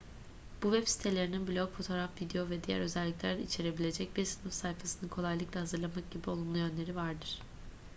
bu web sitelerinin blog fotoğraf video ve diğer özelikler içerebilecek bir sınıf sayfasını kolaylıkla hazırlamak gibi olumlu yönleri vardır